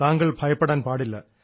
താങ്കൾ ഭയപ്പെടാൻ പാടില്ല